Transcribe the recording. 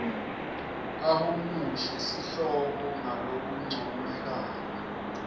ahumushe sihloko ngalokuncomekako